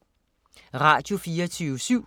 Radio24syv